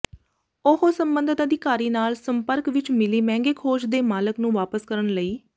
ਉਹ ਸੰਬੰਧਤ ਅਧਿਕਾਰੀ ਨਾਲ ਸੰਪਰਕ ਵਿਚ ਮਿਲੀ ਮਹਿੰਗੇ ਖੋਜ ਦੇ ਮਾਲਕ ਨੂੰ ਵਾਪਸ ਕਰਨ ਲਈ